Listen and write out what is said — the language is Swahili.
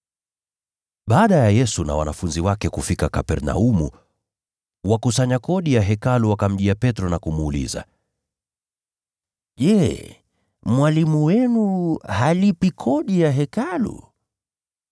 Baada ya Yesu na wanafunzi wake kufika Kapernaumu, wakusanya kodi ya Hekalu wakamjia Petro na kumuuliza, “Je, Mwalimu wenu halipi kodi ya Hekalu?”